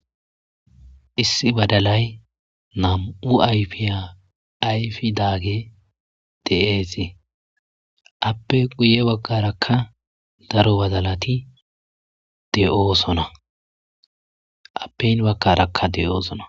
issi badalay nam7u ayfiya ayfi daage deesi appe guye wagarakka daro badalati deoo sona appeyn wagkarakka de7oosona